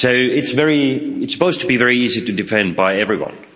It's supposed to be very easy to defend by everyone.